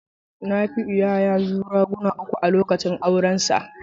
Nafiu ya yazu raguna uku a lokacin aurensa.